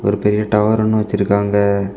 ஒரு பெரிய டவர் ஒன்னு வச்சிருக்காங்க.